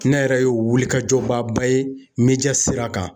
Ne yɛrɛ ye wulikajɔbaaba ye sira kan.